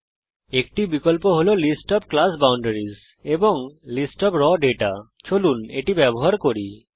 এর মধ্যে একটি বিকল্প হল লিস্ট ওএফ ক্লাস বাউন্ডারিস এবং লিস্ট ওএফ রাও দাতা চলুন এটা ব্যবহার করি